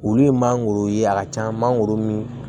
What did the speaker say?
Olu ye mangoro ye a ka can mangoro min